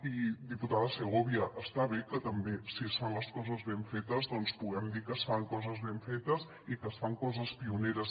i diputada segovia està bé que també si es fan les coses ben fetes puguem dir que es fan coses ben fetes i que es fan coses pioneres